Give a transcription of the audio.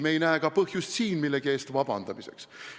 Me ei näe ka põhjust siin millegi eest vabandust paluda.